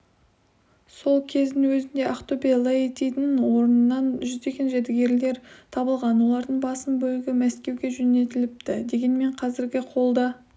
сол кездің өзінде ақтөбе-лаэтидің орнынан жүздеген жәдігерлер табылған олардың басым бөлігі мәскеуге жөнелтіліпті дегенмен қазіргі қолда